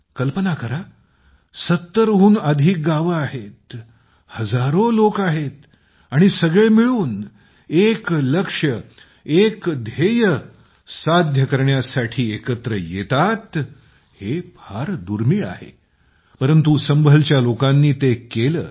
कल्पना करा 70 हून अधिक गावे आहेत हजारो लोक आहेत आणि सगळे मिळून एक लक्ष्य एक ध्येय साध्य करण्यासाठी एकत्र येतात हे फार दुर्मिळ आहे परंतु संभळच्या लोकांनी ते केले